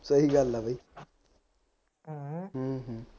ਸਹੀ ਗੱਲ ਆ ਬਾਈ